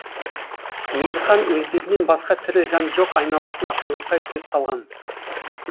мейірхан өздерінен басқа тірі жан жоқ айналасына таңырқай көз салған